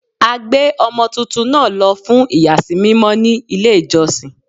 A gbé ọmọ tuntun náà lọ fún iyasi mímọ ní ilé ìjọsìn.